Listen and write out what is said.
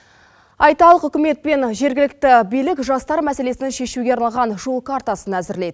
айталық үкімет пен жергілікті билік жастар мәселесін шешуге арналған жол картасын әзірлейді